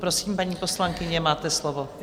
Prosím, paní poslankyně, máte slovo.